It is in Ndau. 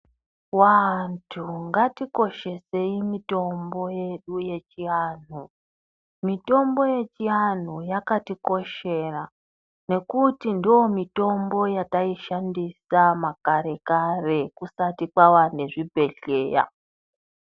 Vantu ngatikoshesei mitombo yedu yechiantu, mitombo yechiantu yakatikoshera ngekuti ndomitombo yataishandisa makare kare kusati jwava nezvibhedhleya.